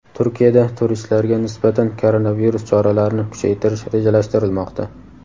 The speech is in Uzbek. Turkiyada turistlarga nisbatan koronavirus choralarini kuchaytirish rejalashtirilmoqda.